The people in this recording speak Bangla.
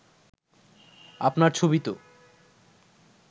আপনার ছবি তো